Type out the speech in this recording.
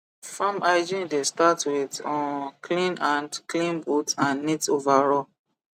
farm hygiene dey start with um clean hand clean boot and neat overall